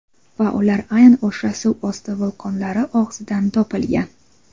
Va ular aynan o‘sha suvosti vulqonlari og‘zidan topilgan.